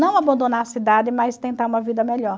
Não abandonar a cidade, mas tentar uma vida melhor.